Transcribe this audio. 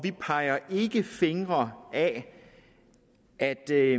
ikke peger fingre af at der